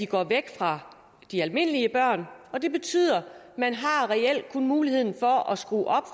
går væk fra de almindelige børn og det betyder at man reelt kun har mulighed for at skrue